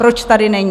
Proč tady není?